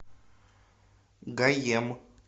гаем